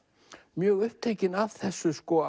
mjög upptekinn af þessu